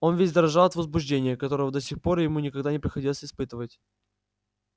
он весь дрожал от возбуждения которого до сих пор ему никогда не приходилось испытывать